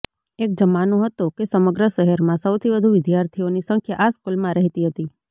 એક જમાનો હતો કે સમગ્ર શહેરમાં સૌથી વધુ વિદ્યાર્થીઓની સંખ્યા આ સ્કૂલમાં રહેતી હતી